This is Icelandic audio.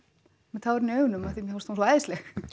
með tárin í augunum af því að mér fannst hún svo æðisleg